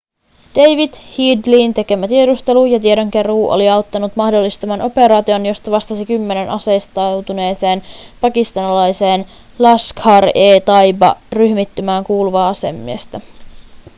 david headleyn tekemä tiedustelu ja tiedonkeruu oli auttanut mahdollistamaan operaation josta vastasi kymmenen aseistautuneeseen pakistanilaiseen laskhar-e-taiba-ryhmittymään kuuluvaa asemiestä